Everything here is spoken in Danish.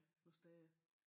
Nogen steder